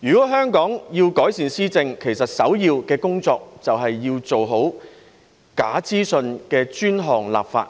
如果香港要改善施政，首要工作便是做好有關假資訊的專項立法。